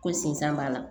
Ko sinsan b'a la